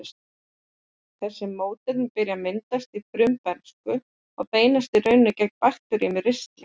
Þessi mótefni byrja að myndast í frumbernsku og beinast raunar gegn bakteríum í ristlinum.